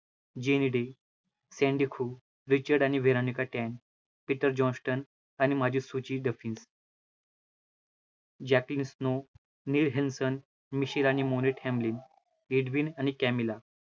, Richard आणि Veronica टेन, Peter Johnston आणि माजीसुची डफीस, जॅकलीस नो, नेल हेलसन, मिशीर आणि मोरेट हॅमलीन, आणि कॅमिला